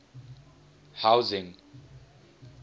housing